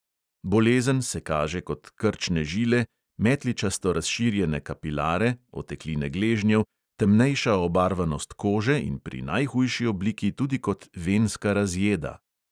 Bolezen se kaže kot krčne žile, metličasto razširjene kapilare, otekline gležnjev, temnejša obarvanost kože in pri najhujši obliki tudi kot venska razjeda.